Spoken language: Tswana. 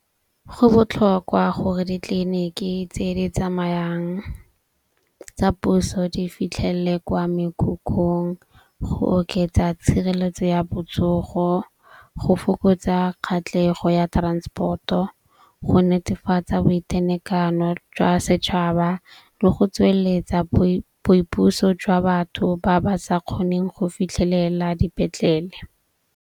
Go botlhokwa gore ditleliniki tse di tsamayang tsa puso di fitlhelele kwa mekhukhung go oketsa tshireletso ya botsogo, go fokotsa kgatlhego ya transport-o, go netefatsa boitenekano jwa setšhaba le go tsweletsa boipuso jwa batho ba ba sa kgoneng go fitlhelela dipetlele.